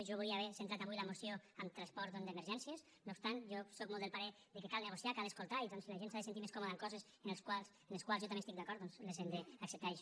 jo volia haver centrat avui la moció en transport d’emergències no obstant jo sóc molt del parer que cal negociar cal escoltar i doncs si la gent s’ha de sentir més còmoda en coses en les quals jo també estic d’acord les hem d’acceptar